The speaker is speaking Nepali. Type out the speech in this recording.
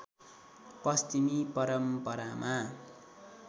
पश्चिमी परम्परामा